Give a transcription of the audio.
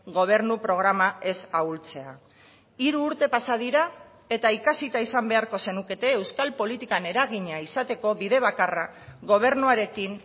gobernu programa ez ahultzea hiru urte pasa dira eta ikasita izan beharko zenukete euskal politikan eragina izateko bide bakarra gobernuarekin